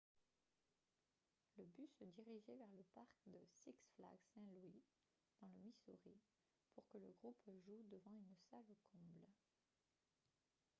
le bus se dirigeait vers le parc de six flags st. louis dans le missouri pour que le groupe joue devant une salle comble